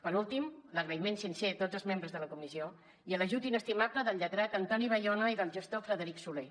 per últim l’agraïment sincer a tots els membres de la comissió i a l’ajut inestimable del lletrat antoni bayona i del gestor frederic solé